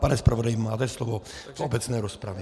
Pane zpravodaji, máte slovo v obecné rozpravě.